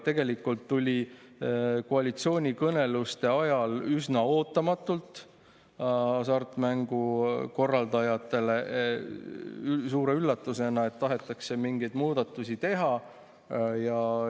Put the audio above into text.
Tegelikult tuli koalitsioonikõneluste ajal hasartmängukorraldajatele suure üllatusena, et tahetakse mingeid muudatusi teha.